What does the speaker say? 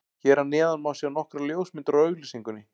Hér að neðan má sjá nokkrar ljósmyndir úr auglýsingunni.